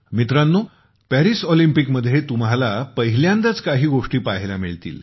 मित्रांनो पॅरिस ऑलिम्पिकमध्ये तुम्हाला पहिल्यांदाच काही गोष्टी पाहायला मिळतील